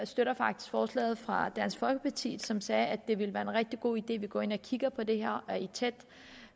støtter faktisk forslaget fra dansk folkeparti som sagde at det vil være en rigtig god idé at gå ind og kigge på det her og i et tæt